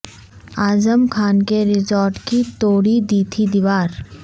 اعظم خان کے ریزارٹ کی توڑی دی تھی دیوار